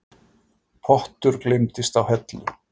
Pottur gleymdist á hellu